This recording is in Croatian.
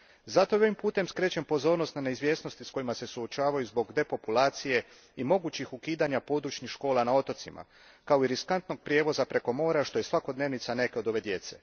Zato ovim putem skrećem pozornost na neizvjesnosti s kojima se suočavaju zbog depopulacije i mogućih ukidanja područnih škola na otocima, kao i riskantnog prijevoza preko mora, što je svakodnevica neke od ove djece.